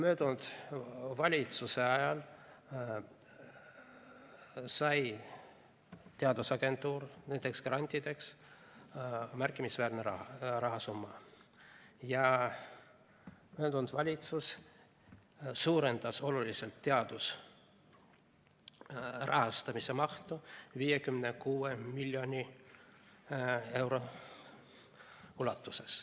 Eelmise valitsuse ajal sai teadusagentuur nendeks grantideks märkimisväärse rahasumma ja eelmine valitsus suurendas oluliselt teaduse rahastamise mahtu, 56 miljoni euro ulatuses.